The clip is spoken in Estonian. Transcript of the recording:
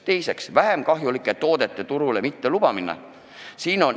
Teiseks, vähem kahjulike toodete turule mittelubamine.